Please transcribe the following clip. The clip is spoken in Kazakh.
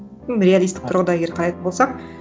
реалистік тұрғыда егер қарайтын болсақ